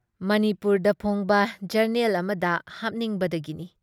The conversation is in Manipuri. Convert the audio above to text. ꯃꯅꯤꯄꯨꯨꯔꯗ ꯐꯣꯡꯕ ꯖꯔꯅꯦꯜ ꯑꯃꯗ ꯍꯥꯞꯅꯤꯡꯕꯗꯒꯤꯅꯤ ꯫